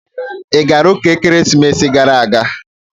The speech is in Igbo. Ị gara ụka ekeresimesi gara aga?